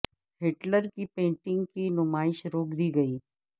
Hitler کی painting کی نمائش روک دی گئی